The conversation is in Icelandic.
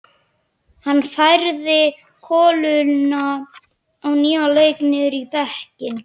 Hann færði koluna á nýjan leik niður í bekkinn.